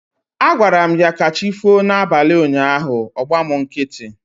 Agwaram ya 'kachifo' na abalị ụnyaahụ, ọ gba mụ nkịtị